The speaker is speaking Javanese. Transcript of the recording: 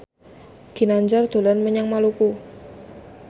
Ginanjar dolan menyang Maluku